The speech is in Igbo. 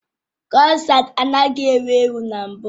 Kroissants anaghị ewu ewu na mbụ